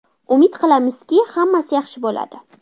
Umid qilamizki, hammasi yaxshi bo‘ladi.